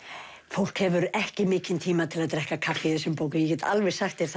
fólk hefur ekki mikinn tíma til að drekka kaffi í þessum bókum ég get alveg sagt þér